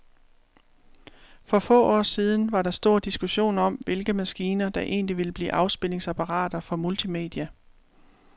For få år siden var der stor diskussion om, hvilke maskiner, der egentlig ville blive afspilningsapparater for multimedia.